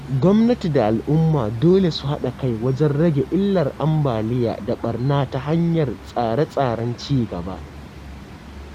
Gwamnati da al’umma dole su haɗa kai wajen rage illar ambaliya da ɓarna ta hanyar tsare-tsaren ci gaba.